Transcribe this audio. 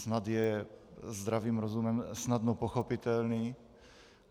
Snad je zdravým rozumem snadno pochopitelný.